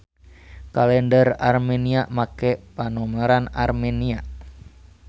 Kalender Armenia make panomeran Armenia.